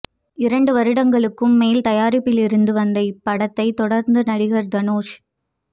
இரண்டு வருடங்களுக்கும் மேல் தயாரிப்பிலிருந்து வந்த இப்படத்தை தொடர்ந்து நடிகர் தனுஷ்